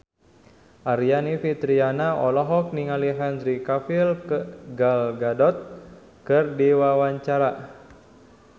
Aryani Fitriana olohok ningali Henry Cavill Gal Gadot keur diwawancara